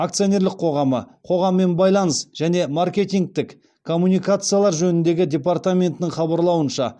акционерлік қоғамы қоғаммен байланыс және маркетингтік коммуникациялар жөніндегі департаментінің хабарлауынша